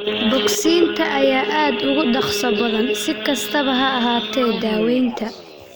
Bogsiinta ayaa aad uga dhakhso badan, si kastaba ha ahaatee, daawaynta.